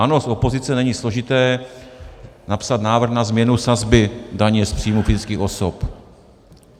Ano, z opozice není složité napsat návrh na změnu sazby daně z příjmu fyzických osob.